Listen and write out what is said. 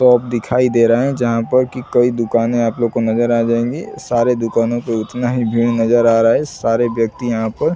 तोंप दिखाई दे रहे हैं जहां पर की कई दुकांने आप लोगो नजर आ जाएँगी सारे दुकानों पे उतना ही भीड़ नजर आ रहा है सारे व्यक्ति यहां पर